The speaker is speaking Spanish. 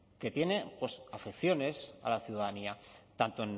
que tiene pues afecciones a la ciudadanía tanto